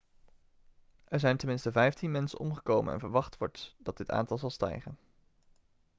er zijn ten minste 15 mensen omgekomen en verwacht wordt dat dit aantal zal stijgen